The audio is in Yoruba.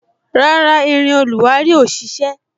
Rárá, irin oluwari ò ṣise